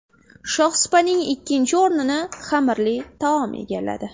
Shohsupaning ikkinchi o‘rnini xamirli taom egalladi.